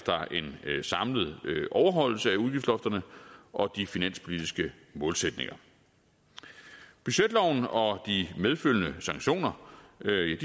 en samlet overholdelse af udgiftsloftet og de finanspolitiske målsætninger budgetloven og de medfølgende sanktioner